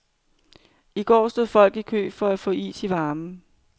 I går stod folk i kø for at få is i varmen.